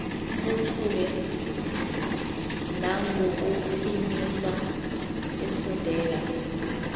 buthule nangokuphimisa efundela